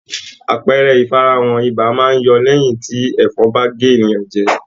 Àpẹẹrẹ ifarahan ibà máa n yọ lẹyin ti ẹfọn ba gé ènìyàn jẹ.